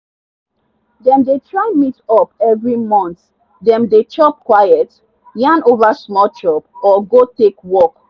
dem dey try meet up every month dem dey chop quietyarn over small chop or go take walk.